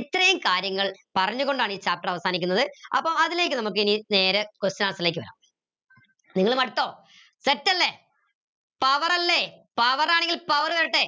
ഇത്രയും കാര്യങ്ങൾ പറഞ്ഞു കൊണ്ടാണ് ഈ chapter അവസാനിക്കുന്നത് അപ്പൊ അതിലേക്ക് നമുക്കെനി നേരെ question answer ലേക്ക് വരം നിങ്ങൾ മടുത്തോ set അല്ലെ power അല്ലെ power ആണെങ്കി power വരട്ടെ